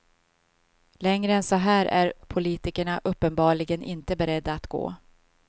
Längre än så här är politikerna uppenbarligen inte beredda att gå.